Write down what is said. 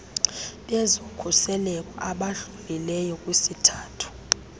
bezokhuseleko abadlulileyo kwisithathu